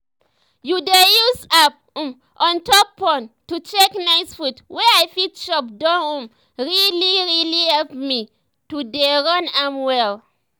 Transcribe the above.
to dey use app um on top phone to check nice food wey i fit chop don um really um really help me um to dey run am well